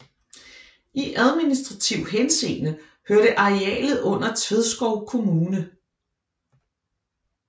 I administrativ henseende hørte arealet under Tvedskov kommune